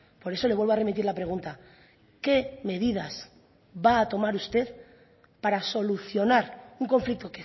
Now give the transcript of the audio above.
por eso le vuelvo a remitir la pregunta qué medidas va a tomar usted para solucionar un conflicto